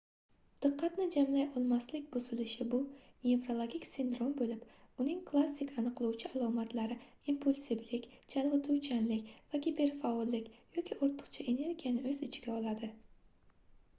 diqqatni jamlay olmaslik buzilishi bu nevrologik sindrom boʻlib uning klassik aniqlovchi alomatlari impulsivlik chalgʻituvchanlik va giperfaollik yoki ortiqcha energiyani oʻz ichiga oladi